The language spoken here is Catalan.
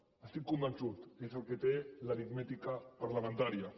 n’estic convençut és el que té l’aritmètica parlamentària